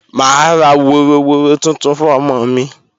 Mà á ra woroworo tuntun fún ọmọ mi